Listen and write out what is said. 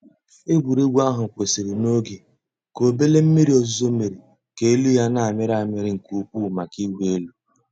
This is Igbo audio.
Ègwùrégwú àhú́ kwụ́sị́rị́ n'oge kà òbèlé m̀mìrí ózùzó mèéré kà èlú yá nà-àmị́rị́ àmị́rị́ nkè ùkwú màkà ị̀wụ́ èlú.